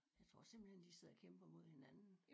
Jeg tror simpelthen de sidder og kæmper mod hinanden